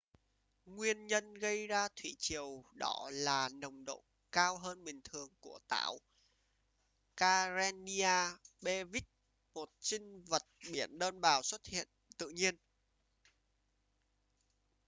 nguyên nhân gây ra thủy triều đỏ là nồng độ cao hơn bình thường của tảo karenia brevis một sinh vật biển đơn bào xuất hiện tự nhiên